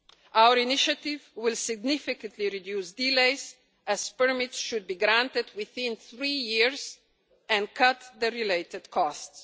Our initiative will significantly reduce delays as permits should be granted within three years and cut the related costs.